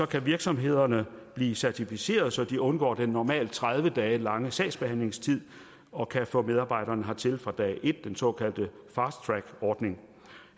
kan virksomhederne blive certificeret så de undgår den normalt tredive dage lange sagsbehandlingstid og kan få medarbejderen hertil fra dag et den såkaldte fasttrackordning